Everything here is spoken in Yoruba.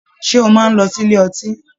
Ṣe o máa n lọ sílé ọtí?